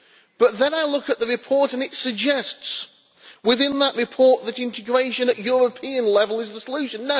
But then I look at the report and it suggests, within that report, that integration at European level is the solution.